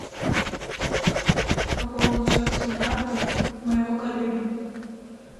пополнить счет сим карты моего коллеги